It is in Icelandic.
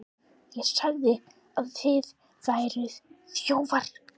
ÉG SAGÐI AÐ ÞIÐ VÆRUÐ ÞJÓFAR.